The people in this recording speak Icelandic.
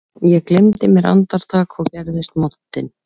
Ég gleymdi mér andartak og gerðist montinn